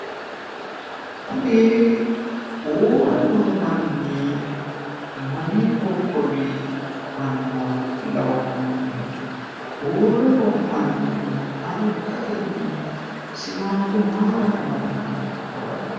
kuni uurre noo manni mamii qoqowi manna lawa'nonne uurre noo manni siwaago mayiira amadinoro dawarre''e